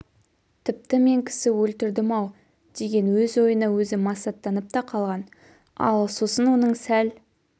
тіпті мен кісі өлтірдім-ау деген өз ойына өзі масаттанып та қалған ал сосын оның сәл